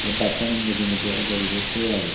bassano mujungedi edey ibot tigey agey.